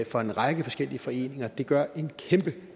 for en række forskellige foreninger det gør en kæmpe